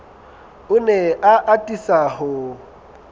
o ne a atisa ho